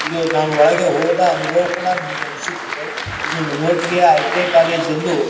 ಇದು ನಾನು ಒಳಗೆ ಹೋದ ಅನುಭವ ಕೂಡ ನನಗೆ ಅನಿಸುತಿದ್ದೆ ಇದ್ದೊಂದು ಮೋಟಿಯ ಐ.ಟಿ.ಐ ಕಾಲೇಜ್ ಎಂದು--